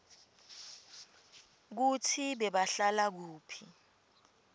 kutsi bebahlala kuphi